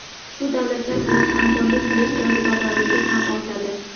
shu davlatlar bilan hamkorlik qilish jozibadorligi ham ortadi.